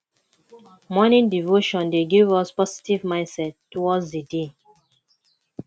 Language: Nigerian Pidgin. morning devotion dey give us positive mindset towards di day